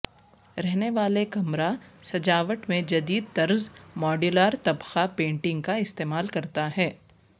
رہنے والے کمرہ سجاوٹ میں جدید طرز ماڈیولر طبقہ پینٹنگ کا استعمال کرتا ہے